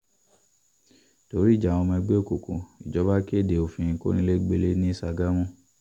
torí ìjà àwọn ọmọ ẹgbẹ́ òkùnkùn ìjọba kéde òfin kọnilẹgbẹlẹ̀ ní ṣàgámù